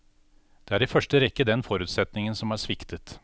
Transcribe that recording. Det er i første rekke den forutsetningen som har sviktet.